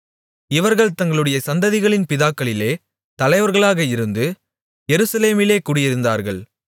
இவர்கள் தங்களுடைய சந்ததிகளின் பிதாக்களிலே தலைவர்களாக இருந்து எருசலேமிலே குடியிருந்தார்கள்